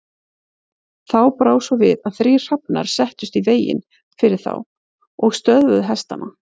Þá brá svo við að þrír hrafnar settust í veginn fyrir þá og stöðvuðu hestana.